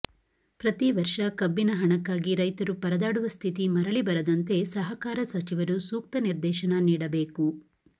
ಪ್ರತಿವರ್ಷ ಕಬ್ಬಿನ ಹಣಕ್ಕಾಗಿ ರೈತರು ಪರದಾಡುವ ಸ್ಥಿತಿ ಮರುಳಿ ಬರದಂತೆ ಸಹಕಾರ ಸಚಿವರು ಸೂಕ್ತ ನಿರ್ದೇಶನ ನೀಡಬೇಕು